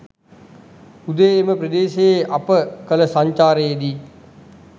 උදේ එම ප්‍රදේශයේ අප කළ සංචාරයේදී